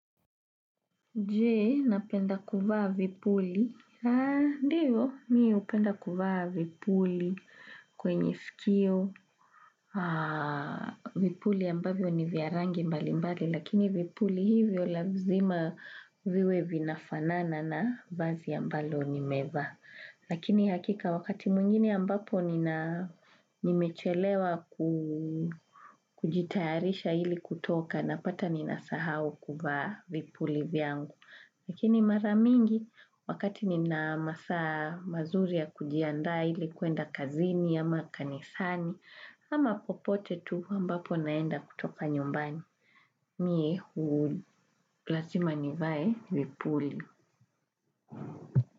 Je, napenda kuvaa vipuli? Haa, ndiyo, mimi hupenda kuvaa vipuli kwenye sikio. Vipuli ambavyo ni vya rangi mbali mbali, lakini vipuli hivyo lazima viwe vinafanana na vazi ambalo nimevaa. Lakini hakika wakati mwingine ambapo nina, nimechelewa kujitayarisha ili kutoka napata ninasahau kuvaa vipuli vyangu. Lakini mara mingi wakati nina masaa mazuri ya kujiandaa ili kuenda kazini, ama kanisani, ama popote tu ambapo naenda kutoka nyumbani. Mie lazima nivae vipuli.